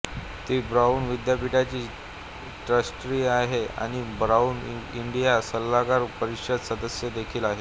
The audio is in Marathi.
ती ब्राउन विद्यापीठची ट्रस्टी आहे आणि ब्राउन इंडिया सल्लागार परिषद सदस्य देखील आहे